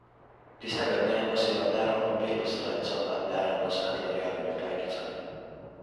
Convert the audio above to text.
Tistega dne je nosila ne ravno belo srajco nad ne ravno svetlorjavimi pajkicami.